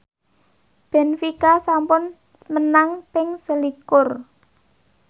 benfica sampun menang ping selikur